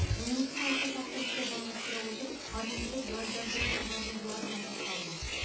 министр осы тақырыпты жалғастыра отырып парниктік газдардың шығарындыларына тоқталды